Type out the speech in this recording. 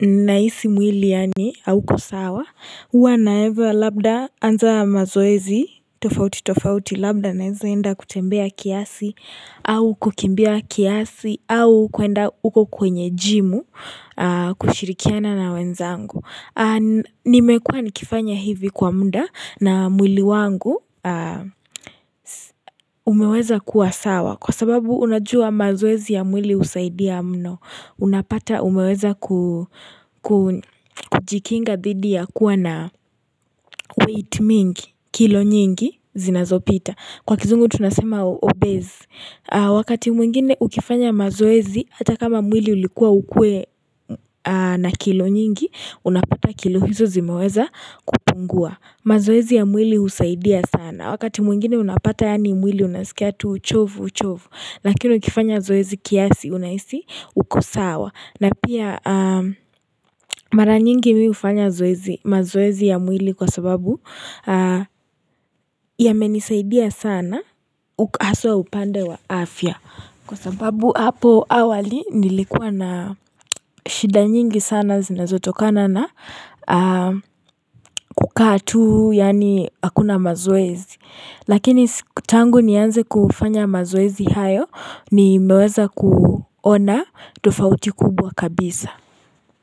nahisi mwili yaani hauko sawa, huwa na eva labda anza mazoezi, tofauti tofauti labda naenza enda kutembea kiasi au kukimbia kiasi au kuenda uko kwenye jimu kushirikiana na wenzangu. Nimekuwa nikifanya hivi kwa muda na mwili wangu umeweza kuwa sawa Kwa sababu unajua mazoezi ya mwili husaidia mno Unapata umeweza ku kujikinga dhidi ya kuwa na weight mingi kilo nyingi zinazopita Kwa kizungu tunasema obese Wakati mwingine ukifanya mazoezi Hata kama mwili ulikuwa ukuwe na kilo nyingi unakuta kilo hizo zimeweza kupungua mazoezi ya mwili husaidia sana wakati mwingine unapata yaani mwili unasikia tu uchovu uchovu lakino ukifanya zoezi kiasi unahisi uko sawa na pia mara nyingi mi hufanya zoezi mazoezi ya mwili kwa sababu yamenisaidia sana haswa upande wa afya kwa sababu hapo awali nilikuwa na shida nyingi sana zinazotokana na kukaa tu yaani hakuna mazoezi. Lakini tangu nianze kufanya mazoezi hayo nimeweza kuona tofauti kubwa kabisa.